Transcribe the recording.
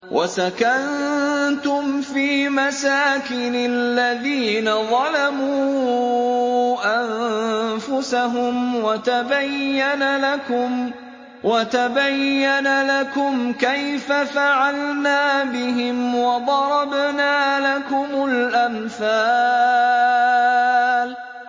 وَسَكَنتُمْ فِي مَسَاكِنِ الَّذِينَ ظَلَمُوا أَنفُسَهُمْ وَتَبَيَّنَ لَكُمْ كَيْفَ فَعَلْنَا بِهِمْ وَضَرَبْنَا لَكُمُ الْأَمْثَالَ